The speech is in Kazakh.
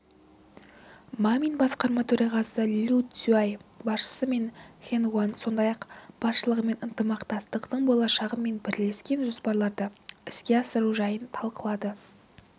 мамин басқарма төрағасы лю сюцай басшысы ма хэнгуан сондай-ақ басшылығымен ынтымақтастықтың болашағы мен бірлескен жобаларды іске асыру жайын талқылады